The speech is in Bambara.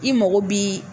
I mago bi